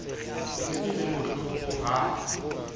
e ne e le bohlokoha